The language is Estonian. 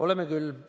Oleme küll.